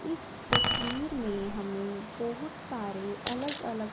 इस तस्वीर में हमें बहुत सारे अलग अलग--